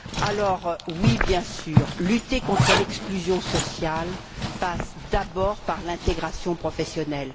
Alors, oui bien sûr, lutter contre l'exclusion sociale passe d'abord par l'intégration professionnelle.